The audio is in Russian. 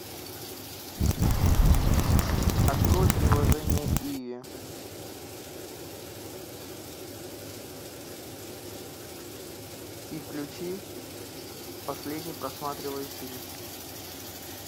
открой приложение иви и включи последний просматриваемый фильм